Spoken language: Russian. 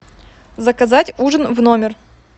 заказать ужин в номер